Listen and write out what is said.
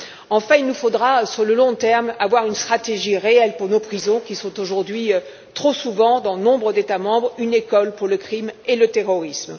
Enfin, il faudra, sur le long terme, avoir une stratégie réelle pour nos prisons, qui sont aujourd'hui trop souvent, dans nombre d'États membres, une école pour le crime et le terrorisme.